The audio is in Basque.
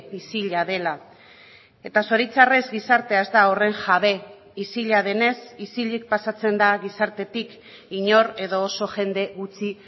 isila dela eta zoritxarrez gizartea ez da horren jabe isila denez isilik pasatzen da gizartetik inor edo oso jende gutxi